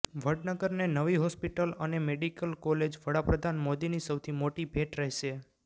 વડનગરને નવી હોસ્પિટલ અને medical college વડાપ્રધાન મોદીની સૌથી મોટી ભેટ રહેશે